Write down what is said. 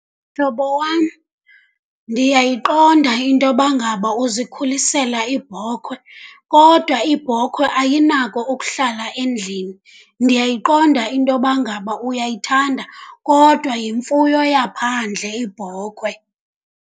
Mhlobo wam, ndiyayiqonda into yoba ngaba uzikhulisela ibhokhwe kodwa ibhokhwe ayinako ukuhlala endlini. Ndiyayiqonda into yoba ngaba uyayithanda kodwa yimfuyo yaphandle ibhokhwe.